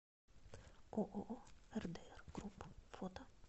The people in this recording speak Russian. ооо рдр групп фото